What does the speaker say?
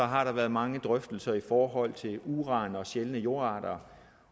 har der været mange drøftelser i forhold til uran og sjældne jordarter